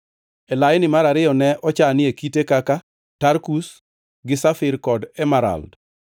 e laini mar ariyo ne ochanie kite kaka tarkus, gi safir kod emerald,